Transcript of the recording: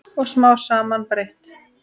Og smám saman breyt